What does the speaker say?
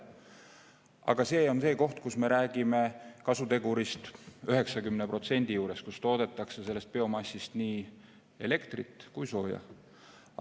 Aga see on koht, kus me räägime kasutegurist umbes 90% ja kus toodetakse biomassist nii elektrit kui sooja.